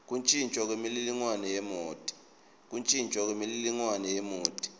kuntjintjwa kwemininingwane yemoti